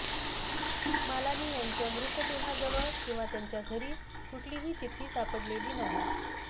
मालानी यांच्या मृतदेहाजवळ किंवा त्यांच्या घरी कुठलीही चिठ्ठी सापडलेली नाही